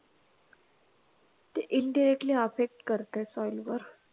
ते indirectly effect करते soil वर